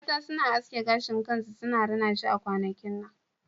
Mata suna aske gashin kansu suna rina shi a kwanakin nan